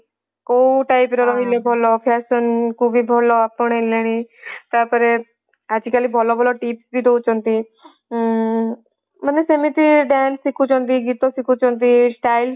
କୋଉ type ରେ ରହିଲେ ଭଲ fashion କୁ ବି ଭଲ ଆପଣେଇଲେଣି ତାପରେ ଆଜି କାଲି ଭଲ ଭଲ tip ବି ଦୋଉଛନ୍ତି ଉଁ ମାନେ ସେମିତି dance ଶିଖୁଛନ୍ତି ଗୀତ ସିଖୁଛନ୍ତି ସ୍style